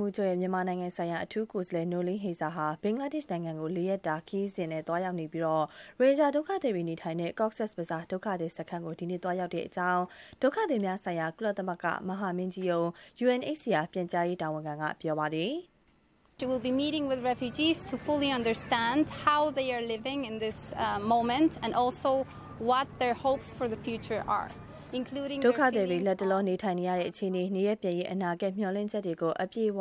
မှူးချုပ်ရဲ့ မြန်မာနိုင်ငံဆိုင်ရာ အထူးကိုယ်စားလှယ် Noeleen Heyzer ဟာ ဘင်္ဂလားဒေ့ရှ် နိုင်ငံကို ၄ ရက်ကြာ ခရီးရောက်နေပြီး ရိုဟင်ဂျာဒုက္ခသည်တွေ နေထိုင်တဲ့ Cox’s Bazaar ဒုက္ခသည်စခန်းကို ဒီကနေ့ သွားရောက်တဲ့အကြောင်း ဒုက္ခသည်များဆိုင်ရာ ကုလသမဂ္ဂမဟာမင်းကြီးရုံး UNHCR ပြန်ကြားရေးတာဝန်ခံက ပြောပါတယ်။ “ဒုက္ခသည်တွေ လတ်တလော နေထိုင်နေရတဲ့ အခြေအနေ၊ နေရပ်ပြန်ရေး အနာဂတ် မျှော်လင့်ချက်တွေကို အပြည့်အဝ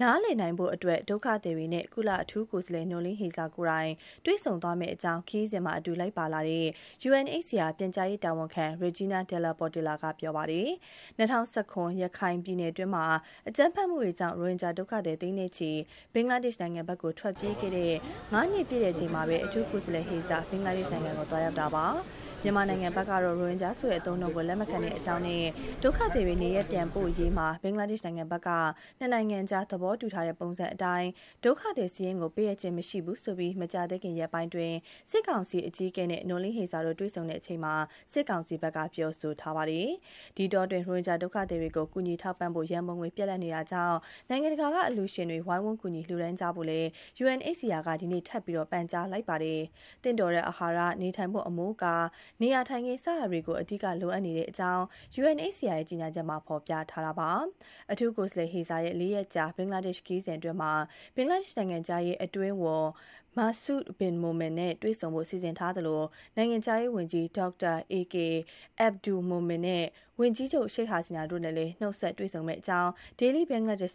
နည်းလည်နိုင်ဖို့အတွက် ဒုက္ခသည်တွေနဲ့ ကုလအထူးကိုယ်စားလှယ် Noeleen Heyzer ကိုယ်တိုင် တွေ့ဆုံသွားမယ့်အကြောင်း” ခရီးစဉ်မှာ အတူလိုက်ပါလာတဲ့ UNHCR ပြန်ကြားရေးတာဝန်ခံ Egina de la Portilla ပြောသွားတာပါ။ ၂၀၁၇ ခုနှစ် ရခိုင်ပြည်နယ်တွင်း အကြမ်းဖက်မှုတွေကြောင့် ရိုဟင်ဂျာဒုက္ခသည် သိန်းချီ ဘင်္ဂလားဒေရှ့်နိုင်ငံဘက်ကို ထွက်ပြေးခဲ့တဲ့ ၅ နှစ်ပြည့်ချိန်မှာပဲ အထူးကိုယ်စားလှယ် Noeleen Heyzer ဘင်္ဂလားဒေ့ရှ်နိုင်ငံကို သွားရောက်တာပါ။ မြန်မာနိုင်ငံဘက်ကတော့ ရိုဟင်ဂျာဆိုတဲ့နာမည်ကို လက်မခံတဲ့အကြောင်းနဲ့ ဒုက္ခသည် နေရပ်ပြန်ပို့ရေးမှာ ဘင်္ဂလားဒေ့ရှ်နိုင်ငံဘက်က နှစ်နိုင်ငံအကြား သဘောတူထားတဲ့ ပုံစံအတိုင်း ဒုက္ခသည်စာရင်းကို ပေးအပ်ခြင်းမရှိဘူးဆိုပြီး မကြာသေးခင်ရက်ပိုင်း စစ်ကောင်စီအကြီးအကဲနဲ့ Noeleen Heyzer တွေ့ဆုံခဲ့တဲ့အချိန်မှာ စစ်ကောင်စီဘက်က ပြောဆိုထားပါတယ်။ ဒီအတောအတွင်း ရိုဟင်ဂျာဒုက္ခသည်တွေကို ကူညီထောက်ပံ့ဖို့ ရန်ပုံငွေ ပြတ်လပ်နေပြီမို့ နိုင်ငံတကာက အလှူရှင်တွေဝိုင်းဝန်းကူညီလှူဒါန်းကြဖို့ UNHCR က ဒီကနေ့ ထပ်မံ ပန်ကြားလိုက်ပါတယ်။ သင့်တော်တဲ့ အာဟာရ၊ နေထိုင်ဖို့ အမိုးအကာ နေရာထိုင်ခင်း စတာတွေ အဓိကလိုအပ်နေကြောင်း UNHCR ရဲ့ ကြေညာချက်မှာ ဖော်ပြထားပါတယ်။ အထူးကိုယ်စားလှယ် Heyzer ရဲ့ ၄ ရက်ကြာ ဘင်္ဂလားဒေ့ရှ် ခရီးစဉ်အတွင်းမှာတော့ ဘင်္ဂလားဒေ့ရှ်နိုင်ငံခြားရေး အတွင်းဝန် Masud Bin Momen (မာဆု ဘင် မိုမင်) နဲ့ တွေ့ဆုံဖို့ စီစဉ်ထားသလို နိုင်ငံခြားရေးဝန်ကြီး Dr. AK Abdul Momen (ဒေါက်တာ အေကေ အက်ဘ်ဒူးလ် မိုမင်) နဲ့ ဝန်ကြီးချုပ် Sheikh Hasina တို့ကိုလည်း နှုတ်ဆက်တွေ့ဆုံမယ့်အကြောင်း Daily Bangladesh